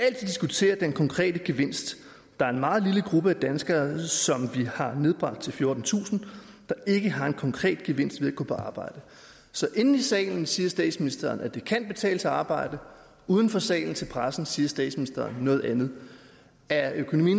diskutere den konkrete gevinst der er en meget lille gruppe af danskere som vi har nedbragt til fjortentusind der ikke har en konkret gevinst ved at gå på arbejde så inde i salen siger statsministeren at det kan betale sig at arbejde uden for salen til pressen siger statsministeren noget andet er økonomi